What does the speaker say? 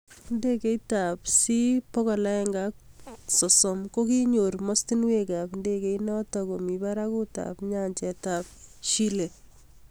Ndegeit ab C 130 kokiknyor mastunwek ab ndegeit natok komi baragut ab nyanjet ab Chile